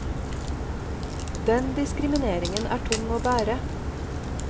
Den diskrimineringen er tung å bære.